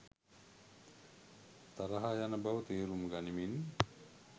තරහ යන බව තේරුම් ගනිමින්